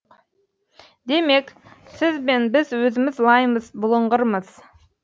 демек сіз бен біз өзіміз лаймыз бұлыңғырмыз